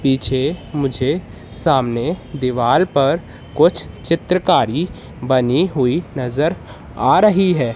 पीछे मुझे सामने दीवाल पर कुछ चित्रकारी बनी हुई नज़र आ रही है।